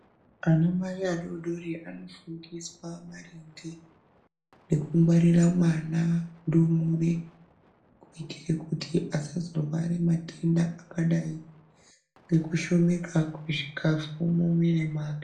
Ana mai adodori anofundiswa maringe neku ngwarira mwana ndumure kubikire kuti asazorware madenda akadai nekushomeka kwechikafu mumwiri mwake.